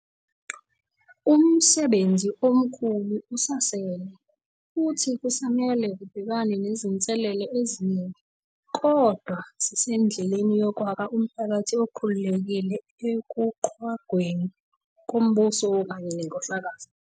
Umsebenzi omkhulu usasele, futhi kusamele kubhekwane nezinselele eziningi. Kodwa sisendleleni yokwakha umphakathi okhululekile ekuqhwagweni kombuso kanye nenkohlakalo.